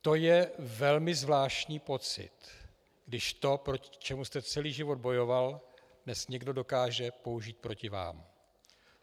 To je velmi zvláštní pocit, když to, proti čemu jste celý život bojoval, dnes někdo dokáže použít proti vám.